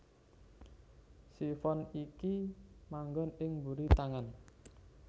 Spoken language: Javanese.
Sifon iki manggon ing mburi tangan